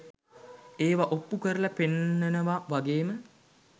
ඒවා ඔප්පු කරලා පෙන්නනවා වගේ ම